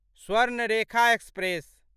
Swarnarekha express